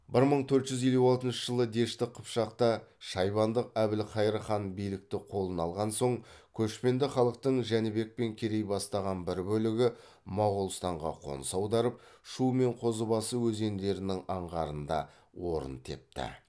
бір мың төрт жүз елу алтыншы жылы дешті қыпшақта шайбандық әбілхайыр хан билікті қолына алған соң көшпенді халықтың жәнібек пен керей бастаған бір бөлігі моғолстанға қоныс аударып шу мен қозыбасы өзендерінің аңғарында орын тепті